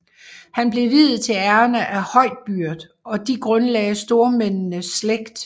Han blev viet til Erna af høj byrd og de grundlagde stormændenes slægt